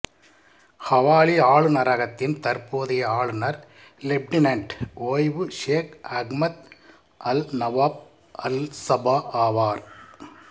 Hawalli ஆளுநரகத்தின் தற்போதைய ஆளுநர் லெப்டினென்ட் ஓய்வு ஷேக் அஹ்மத் அல்நவாஃப் அல்சபா ஆவார்